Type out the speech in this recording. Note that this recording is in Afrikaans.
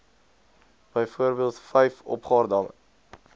byvoorbeeld vyf opgaardamme